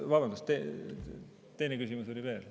Vabandust, teine küsimus oli veel.